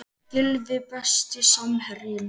Gylfi Besti samherjinn?